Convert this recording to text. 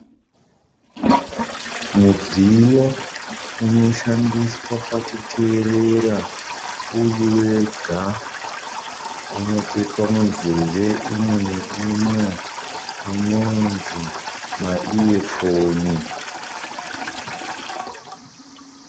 Mudziyo unoshandiswa pakuteerera uriwega. Unotsvetwa munzeve imwe nimwe unonzi ma iyefoni.